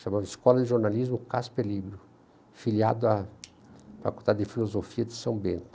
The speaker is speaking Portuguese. Chamava-se Escola de Jornalismo Casper Libro, filiado à Faculdade de Filosofia de São Bento.